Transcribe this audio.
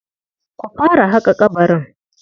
Ku fara haƙa ƙabarin.